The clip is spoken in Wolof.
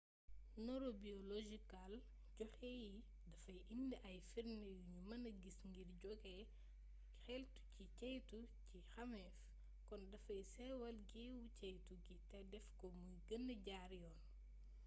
neurobiologikal joxe y dafay indi ay firnde yu nu mëna gis ngir joge xeltu ci ceytu ci xameef kon dafay sewal géeewu ceytu gi te def ko mu gëna jaar yoon